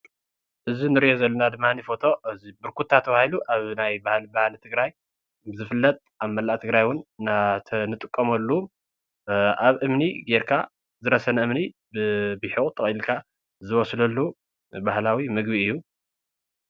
እዚ እንርእዮ ዘለና ድማኒ ፎቶ ብርኩታ ተባሂሉ ኣብ ናይ ባህሊ ትግራይ ዝፍለጥ ኣብ መላእ ትግራይ እዉን እንጥቀመሉ ኣብ እምኒ ገይርካ ዝረሰነ እምኒ ብብሒቁ ጠቅሊልካ ዝብስለሉ ባህላዊ ምግቢ እዩ።